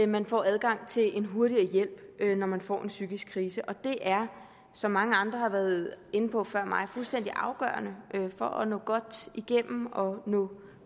man får adgang til en hurtigere hjælp når man får en psykisk krise og det er som mange andre har været inde på før mig fuldstændig afgørende for at nå godt igennem og nå